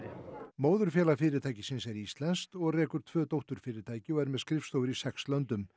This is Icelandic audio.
móðurfélag fyrirtækisins er íslenskt og rekur tvö dótturfyrirtæki og er með skrifstofur í sex löndum